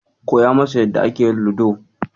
Koya masa yadda ake yin Ludo.